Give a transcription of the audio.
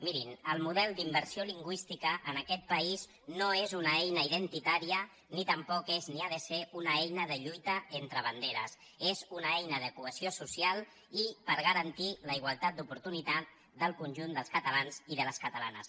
mirin el model d’immersió lingüística en aquest país no és una eina identitària ni tampoc és ni ha de ser una eina de lluita entre banderes és una eina de cohesió social i per garantir la igualtat d’oportunitats del conjunt dels catalans i de les catalanes